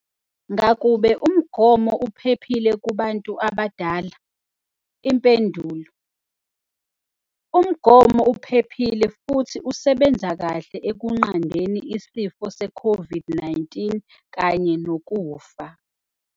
Ngakube umgomo uphephile kubantu abadala? Impendulo- Umgomo uphephile futhi usebenza kahle ekunqandeni isifo seCOVID-19 kanye nokufa.